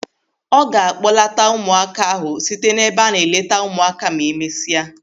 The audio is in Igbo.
Ọ ga a kpọlata ụmụaka ahụ site n'ebe a na-eleta ụmụaka ma emesịa.